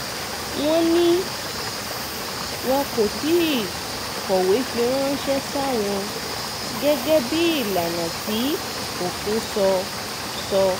wọ́n ní wọn kò tí ì kọ̀wé fi ránṣẹ́ sáwọn gẹ́gẹ́ bíi ìlànà tí òfin sọ sọ